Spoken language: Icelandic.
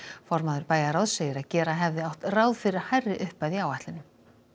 formaður bæjarráðs segir að gera hefði átt ráð fyrir hærri upphæð í áætlunum